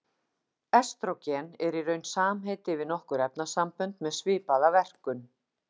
Estrógen er í raun samheiti yfir nokkur efnasambönd með svipaða verkun.